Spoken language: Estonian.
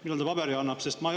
Millal ta paberi annab?